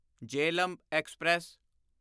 Jhelum express